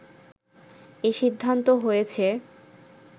এ সিদ্ধান্ত হয়েছে